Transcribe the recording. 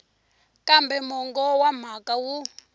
kambe mongo wa mhaka wu